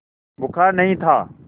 बुखार नहीं था